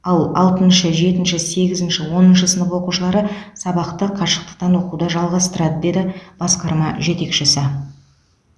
ал алтыншы жетінші сегізінші оныншы сынып оқушылары сабақты қашықтықтан оқуды жалғастырады деді басқарма жетекшісі